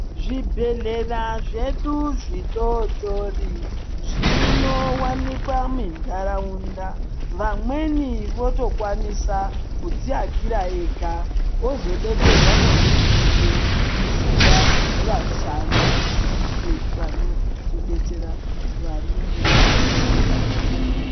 Zvibhehlera zvedu zvidodori zvinowanikwa munharaunda vamweni votokwanisa kudziakira ega ozobetserwa nehurumende kuisirwa vashandi vanenge vaine zviyaiyo